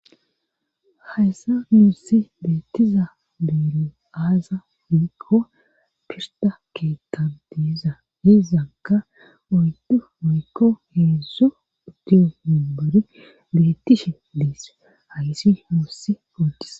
Hayssa muossi beetiza beero aaza uyikowa pirta keetan dieza hizanka oyddu oykko heedzzo udiyo himbore betishin dies hayssi muossi ootiza.